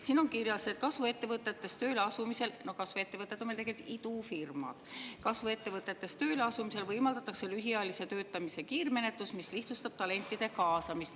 Siin on kirjas, et kasvuettevõtetes tööle asumisel – kasvuettevõtted on meil tegelikult idufirmad – võimaldatakse lühiajalise töötamise kiirmenetlust, mis lihtsustab talentide kaasamist.